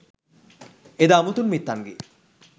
එදා මුතුන් මිත්තන්ගේ